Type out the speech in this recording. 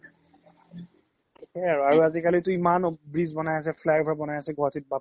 সেই আৰু, আৰু আজিকালিতো ইমান bridge ব্নাই আছে Fly over ব্নাই আছে বাপ ৰে